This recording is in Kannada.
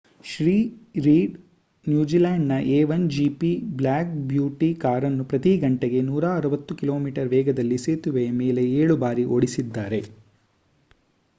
ಶ್ರೀ ರೀಡ್ ನ್ಯೂಜಿಲೆಂಡ್‌ನ ಎ 1 ಜಿಪಿ ಬ್ಲ್ಯಾಕ್ ಬ್ಯೂಟಿ ಕಾರನ್ನು ಪ್ರತಿ ಗಂಟೆಗೆ 160 ಕಿ.ಮೀ ವೇಗದಲ್ಲಿ ಸೇತುವೆಯ ಮೇಲೆ ಏಳು ಬಾರಿ ಓಡಿಸಿದ್ದಾರೆ